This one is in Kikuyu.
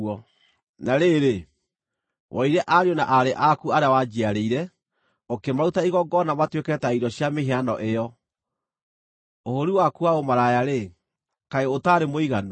“ ‘Na rĩrĩ, woire ariũ na aarĩ aku arĩa wanjiarĩire, ũkĩmaruta igongona matuĩke ta irio cia mĩhianano ĩyo. Ũhũũri waku wa ũmaraya-rĩ, kaĩ ũtaarĩ mũiganu?